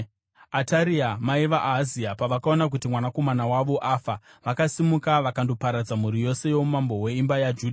Ataria mai vaAhazia pavakaona kuti mwanakomana wavo afa, vakasimuka vakandoparadza mhuri yose youmambo hweimba yaJudha.